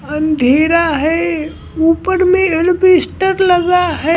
अंधेरा है ऊपर में एल्वेस्टर लगा है।